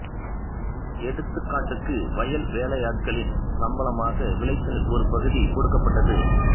எடுத்துக்காட்டுக்கு வயல் வேலையாட்களின் சம்பளமாக விளைச்சலின் ஒரு பகுதி கொடுக்கப்பட்டது